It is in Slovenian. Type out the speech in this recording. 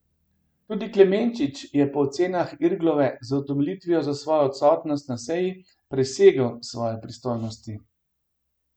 Tudi Klemenčič je po ocenah Irglove z utemeljitvijo za svojo odsotnost na seji presegel svoje pristojnosti.